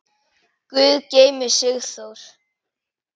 Guð geymi Sigþór.